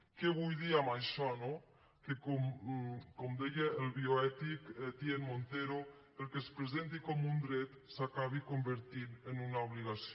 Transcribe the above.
què vull dir amb això que com deia el bioètic étienne montero el que es presenti com un dret s’acabi convertint en una obligació